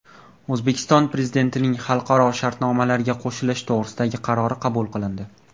O‘zbekiston Prezidentining xalqaro shartnomalarga qo‘shilish to‘g‘risidagi qarori qabul qilindi.